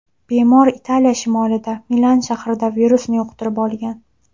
Bemor Italiya shimolida, Milan shahrida, virusni yuqtirib olgan.